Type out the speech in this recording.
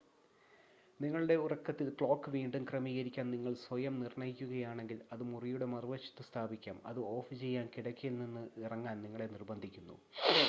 നിങ്ങളുടെ ഉറക്കത്തിൽ ക്ലോക്ക് വീണ്ടും ക്രമീകരിക്കാൻ നിങ്ങൾ സ്വയം നിർണ്ണയിക്കുകയാണെങ്കിൽ അത് മുറിയുടെ മറുവശത്ത് സ്ഥാപിക്കാം അത് ഓഫുചെയ്യാൻ കിടക്കയിൽ നിന്ന് ഇറങ്ങാൻ നിങ്ങളെ നിർബന്ധിക്കുന്നു